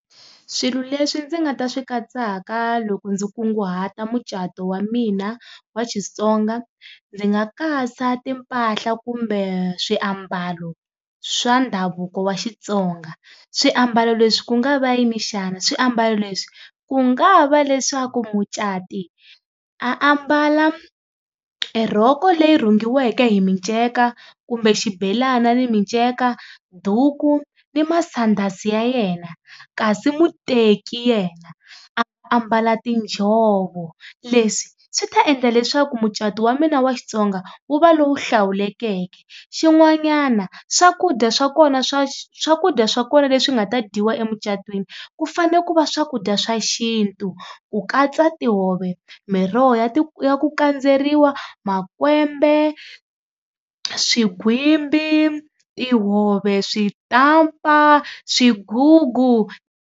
Swilo leswi ndzi nga ta swi katsaka loko ndzi kunguhata mucato wa mina wa Xitsonga ndzi nga katsa timpahla kumbe swiambalo swa ndhavuko wa Xitsonga, swiambalo leswi ku nga va yini xana? Swiambalo leswi ku nga va leswaku mucati a ambala e rhoko leyi rhungiweke hi minceka kumbe xibelana ni minceka, duku ni masandasi ya yena kasi muteki yena a ambala tiinjhovo. Leswi swi ta endla leswaku mucato wa mina wa Xitsonga wu va lowu hlawulekeke, xin'wanyana swakudya swa kona swa swakudya swa kona leswi nga ta dyiwa emucatweni ku fanele ku va swakudya swa xintu ku katsa tihove, miroho ya ya ku kandzeriwa, makwembe, swigwimbi, tihove, switampa, swigugu.